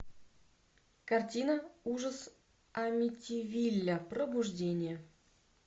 картина ужас амитивилля пробуждение